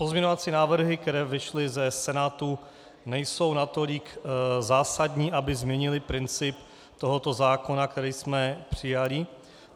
Pozměňovací návrhy, které vyšly ze Senátu, nejsou natolik zásadní, aby změnily princip tohoto zákona, který jsme přijali.